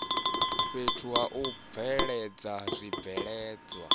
fhethu ha u bveledza zwibveledzwa